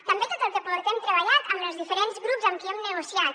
també tot el que portem treballat amb els diferents grups amb qui hem negociat